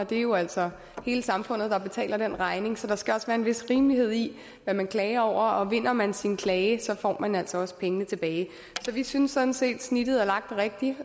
det jo altså er hele samfundet der betaler den regning så der skal også være en vis rimelighed i hvad man klager over vinder man sin klagesag får man altså også pengene tilbage så vi synes sådan set at snittet er lagt rigtigt